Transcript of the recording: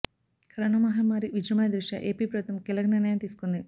corona మహమ్మారి విజృంభణ దృష్ట్యా ఏపీ ప్రభుత్వం కీలక నిర్ణయం తీసుకుంది